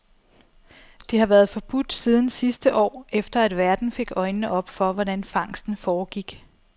Det har været forbudt siden sidste år, efter at verden fik øjnene op for, hvordan fangsten foregik.